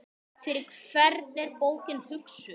Fyrir hvern er bókin hugsuð?